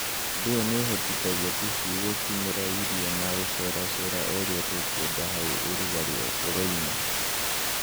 Undũ ũyũ nĩũhotithagia tũcui gũkinyĩra irio na gũceraceraga ũrĩa tũkwenda hau ũrugarĩ ũroima.